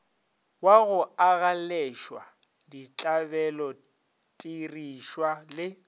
wa go agaleswa ditlabelotirišwa le